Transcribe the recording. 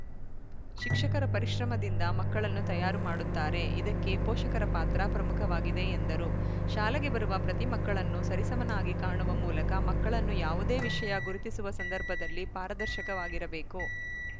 ಶಿಕ್ಷಕರ ಪರಿಶ್ರಮದಿಂದ ಮಕ್ಕಳನ್ನು ತಯಾರು ಮಾಡುತ್ತಾರೆ ಇದಕ್ಕೆ ಪೋಷಕರ ಪಾತ್ರ ಪ್ರಮುಖವಾಗಿದೆ ಎಂದರು ಶಾಲೆಗೆ ಬರುವ ಪ್ರತಿ ಮಕ್ಕಳನ್ನು ಸರಿಸಮನಾಗಿ ಕಾಣುವ ಮೂಲಕ ಮಕ್ಕಳನ್ನು ಯಾವುದೇ ವಿಷಯ ಗುರುತಿಸುವ ಸಂದರ್ಭದಲ್ಲಿ ಪಾರದರ್ಶಕವಾಗಿರಬೇಕು